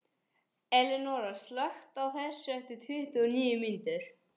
Elinóra, slökktu á þessu eftir tuttugu og níu mínútur.